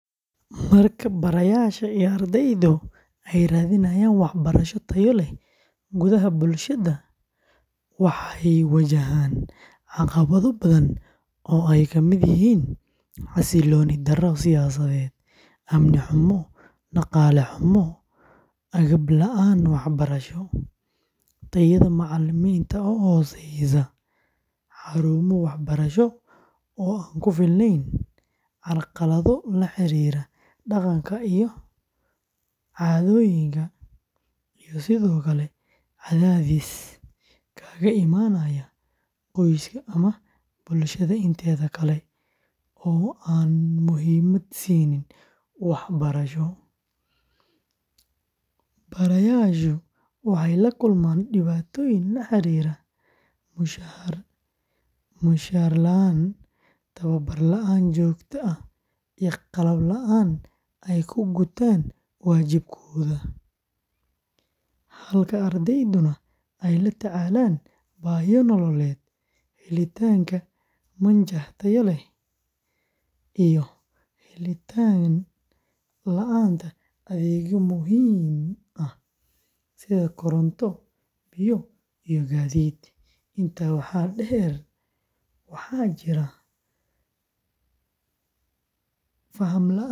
Marka barayaasha iyo ardaydu ay raadinayaan waxbarasho tayo leh gudaha bulshada, waxay wajahaan caqabado badan oo ay ka mid yihiin xasilooni darro siyaasadeed, amni xumo, dhaqaale xumo, agab la’aan waxbarasho, tayada macallimiinta oo hooseysa, xarumo waxbarasho oo aan ku filnayn, carqalado la xiriira dhaqanka iyo caadooyinka, iyo sidoo kale cadaadis kaga imaanaya qoyska ama bulshada inteeda kale oo aan muhiimad siinin waxbarashada; barayaashu waxay la kulmaan dhibaatooyin la xiriira mushahar la’aan, tababar la’aan joogto ah, iyo qalab la’aan ay ku gutaan waajibaadkooda, halka ardayduna ay la tacaalaan baahiyo nololeed, helitaanka manhaj tayo leh, iyo helitaan la’aanta adeegyo muhiim ah sida koronto, biyo, iyo gaadiid; intaa waxaa dheer, waxaa jirta faham la’aan.